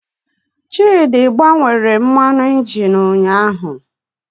Chidị gbanwere mmanụ injin ụnyahụ